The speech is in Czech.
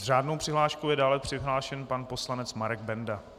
S řádnou přihláškou je dále přihlášen pan poslanec Marek Benda.